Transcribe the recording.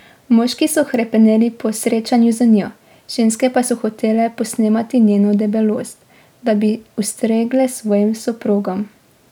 Moški so hrepeneli po srečanju z njo, ženske pa so hotele posnemati njeno debelost, da bi ustregle svojim soprogom.